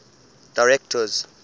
directors